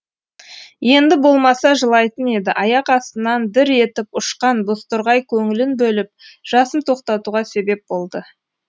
енді болмаса жылайтын еді аяқ астынан дір етіп ұшқан бозторғай көңілін бөліп жасын тоқтатуға себеп болды